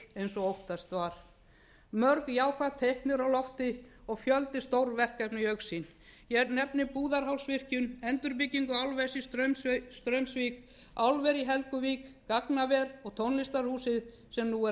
mikill og óttast var mörg jákvæð teikn eru á lofti og fjöldi stórverkefna í augsýn ég nefni búðarhálsvirkjun endurbyggingu álversins í straumsvík álver í helguvík gagnaver og tónlistarhúsið sem nú er að